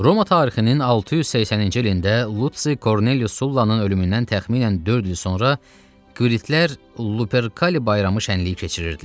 Roma tarixinin 680-ci ilində Lusi Kornelius Sullanın ölümündən təxminən dörd il sonra Qviritlər Luperkali bayramı şənliyi keçirirdilər.